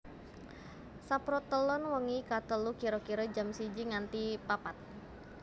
Saprotelon wengi ka telu kira kira jam siji nganti papat